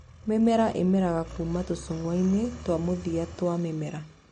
Mĩmera ĩmeragĩra kuuma tũcungwa-inĩ twa mũthia twa mĩmera.